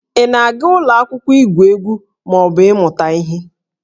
Ị na-aga ụlọ akwụkwọ igwu egwu ma ọ bụ ịmụta ihe?